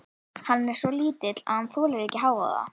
Hann er svo lítill að hann þolir ekki hávaða.